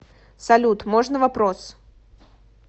салют можно вопрос